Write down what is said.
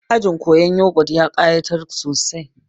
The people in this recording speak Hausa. Ajin koyan yogut ya ƙayatar sosai